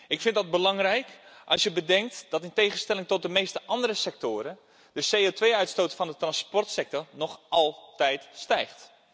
Ik vind dat belangrijk, als je bedenkt dat, in tegenstelling tot de meeste andere sectoren, de CO2-uitstoot van de transportsector nog altijd stijgt.